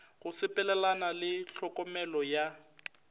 go sepelelana le tlhokomelo ya